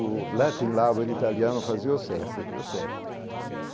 O italiano fazia o cerco e deu certo.